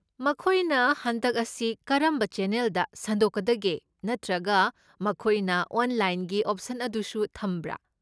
ꯃꯈꯣꯏꯅ ꯍꯟꯗꯛ ꯑꯁꯤ ꯀꯔꯝꯕ ꯆꯦꯅꯦꯜꯗ ꯁꯟꯗꯣꯛꯀꯗꯒꯦ ꯅꯠꯇ꯭ꯔꯒ ꯃꯈꯣꯏꯅ ꯑꯣꯟꯂꯥꯏꯟꯒꯤ ꯑꯣꯞꯁꯟ ꯑꯗꯨꯁꯨ ꯊꯝꯕ꯭ꯔꯥ?